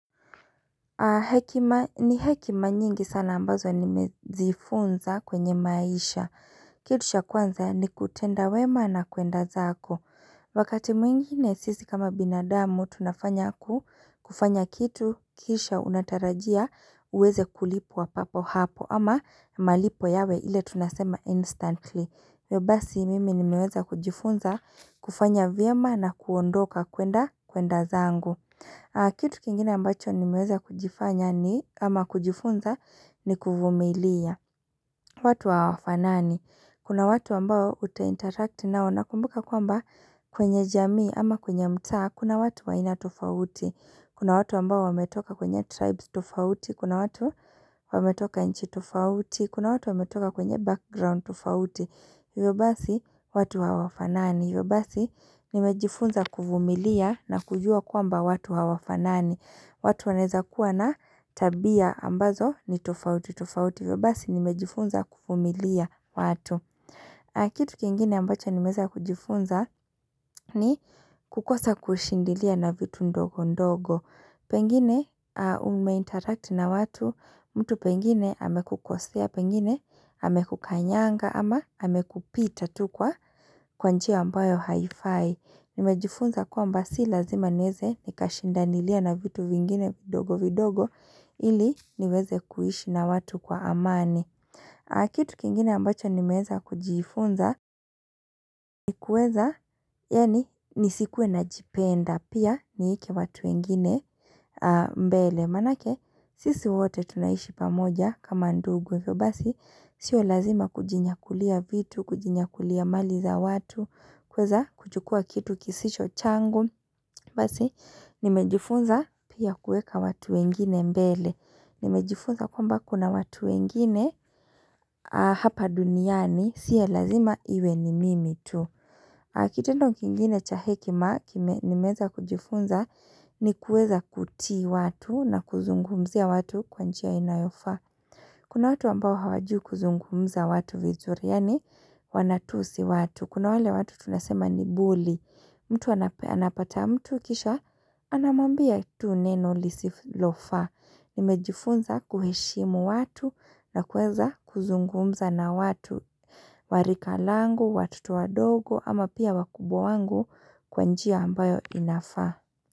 Hekima ni hekima nyingi sana ambazo nimejifunza kwenye maisha Kitu cha kwanza ni kutenda wema na kwenda zako Wakati mwingine sisi kama binadamu tunafanya kufanya kitu kisha unatarajia uweze kulipwa papo hapo ama malipo yawe ile tunasema instantly hivyo basi mimi nimeweza kujifunza kufanya vyema na kuondoka kwenda kwenda zangu Kitu kingina ambacho nimeweza kujifanya ni ama kujifunza ni kuvumilia watu hawafanani Kuna watu ambao utainterract nao na kumbuka kwamba kwenye jamii ama kwenye mta Kuna watu wa ina tofauti Kuna watu ambao wametoka kwenye tribes tofauti Kuna watu wametoka nchi tofauti Kuna watu wametoka kwenye background tofauti Hivyo basi nimejifunza kuvumilia na kujua kwamba watu hawafanani watu waneza kuwa na tabia ambazo ni tofauti, tofauti hivyo basi nimejifunza kuvumilia watu. Kitu kingine ambacho nimeza kujifunza ni kukosa kushindilia na vitu ndogo ndogo. Pengine ume interact na watu, mtu pengine amekukosea, pengine amekukanyanga ama amekupita tukwa kwanjia ambayo haifi. Nimejifunza kwamba si lazima nieze nikashindanilia na vitu vingine vidogo vidogo ili niweze kuishi na watu kwa amani Kitu kingine ambacho nimeeza kujifunza ni kueza yani nisikue na jipenda pia nieke watu wengine mbele Manake sisi wote tunaishi pamoja kama ndugu hivyo basi sio lazima kujinyakulia vitu kujinyakulia mali za watu kwaza kuchukua kitu kisicho changu basi nimejifunza pia kueka watu wengine mbele nimejifunza kwamba kuna watu wengine hapa duniani sio lazima iwe ni mimi tu kitendo kingine cha hekima, nimeweza kujifunza ni kuweza kutii watu na kuzungumzia watu kwa njia inayofaa. Kuna watu ambao hawajiu kuzungumza watu vizuri, yani wanatusi watu. Kuna wale watu tunasema ni buli, mtu anapata mtu kisha, anamwambia tu neno lisilofaa. Nimejifunza kuheshimu watu na kueza kuzungumza na watu. Wa rika langu, watoto wadogo ama pia wakubwa wangu kwa njia ambayo inafaa.